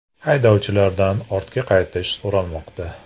Haydovchilardan ortga qaytish so‘ralmoqda.